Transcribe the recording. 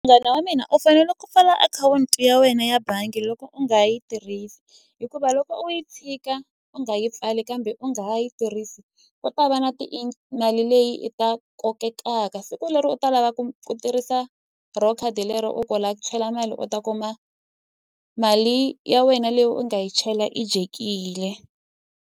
Munghana wa mina u fanele ku pfala akhawunti ya wena ya bangi loko u nga yi tirhisa hikuva loko u yi tshika u nga yi pfali kambe u nga ha yi tirhisi ku ta va na ti mali leyi i ta kotekaka siku leri u ta lava ku tirhisa ro khadi lero u ku u lava ku chela mali u ta kuma mali ya wena leyi u nga yi chela yi dyekile.